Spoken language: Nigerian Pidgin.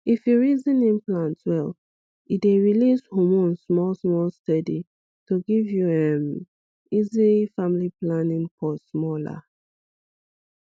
if you reason implant well e dey release hormone small small steady to give you um easy family planning pause small ah